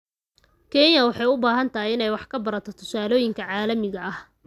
Kenya waxay u baahan tahay inay wax ka barato tusaalooyinka caalamiga ah.